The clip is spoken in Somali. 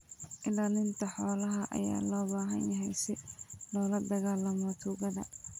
Ilaalinta xoolaha ayaa loo baahan yahay si loola dagaallamo tuugada.